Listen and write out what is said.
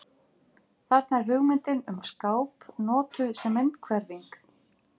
Þarna er hugmyndin um skáp notuð sem myndhverfing.